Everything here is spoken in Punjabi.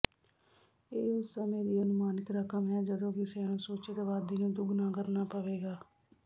ਇਹ ਉਸ ਸਮੇਂ ਦੀ ਅਨੁਮਾਨਿਤ ਰਕਮ ਹੈ ਜਦੋਂ ਕਿਸੇ ਅਨੁਸੂਚਿਤ ਆਬਾਦੀ ਨੂੰ ਦੁੱਗਣਾ ਕਰਨਾ ਪਵੇਗਾ